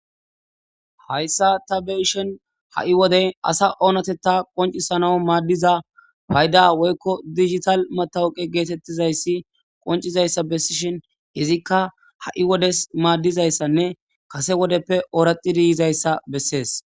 Hayssa ta beyishin ha7i wode asa oonatetta qoncisana maaddiza payda woykko dijital matawuqe geetettizayssi qoncizayssa bessishin izikka ha7i wodes maaddizayssanne kase wodeppe ooraxxidi yizayssa bessees.